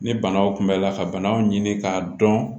Ni banaw kunbɛnla ka banaw ɲini k'a dɔn